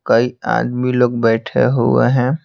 कई आदमी लोग बैठे हुए हैं।